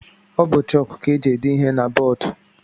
Ọ bụ chọk ka e ji ede ihe na bọọdu.